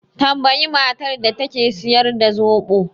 Tambayi matar da take siyar da zoɓo